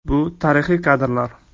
Bu tarixiy kadrlar.